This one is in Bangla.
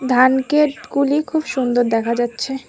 ধানক্ষেতগুলি খুব সুন্দর দেখা যাচ্ছে।